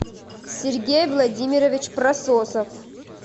сергей владимирович прососов